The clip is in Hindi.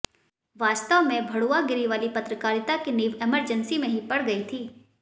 वास्तव में भड़ुआगिरी वाली पत्रकारिता की नींव इमरजेंसी में ही पड़ गई थी